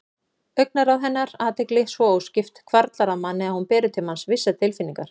Augnaráð hennar, athygli svo óskipt, hvarflar að manni að hún beri til manns vissar tilfinningar.